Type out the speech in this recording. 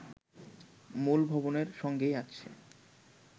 মূল ভবনের সঙ্গেই আছে